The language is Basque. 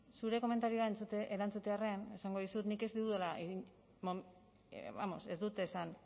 zure komentarioak erantzutearren esango dizut nik ez dudala vamos ez dut esan